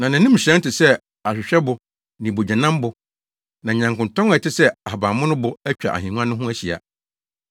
Na nʼanim hyerɛn te sɛ ahwehwɛbo ne bogyanambo. Na nyankontɔn a ɛte sɛ ahabammonobo atwa ahengua no ho ahyia.